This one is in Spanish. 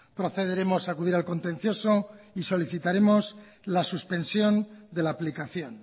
procederemos a acudir al contencioso y solicitaremos la suspensión de la aplicación